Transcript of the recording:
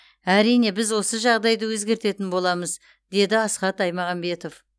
әрине біз осы жағдайды өзгертетін боламыз деді асхат аймағамбетов